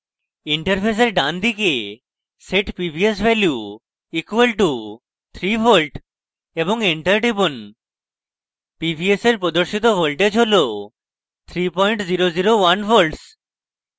interface ডানদিকে set pvs value = 3v এবং enter টিপুন pvs এর প্রদর্শিত voltage হল 3001v